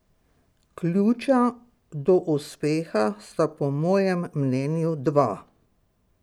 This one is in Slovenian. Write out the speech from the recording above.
Ključa do uspeha sta po mojem mnenju dva.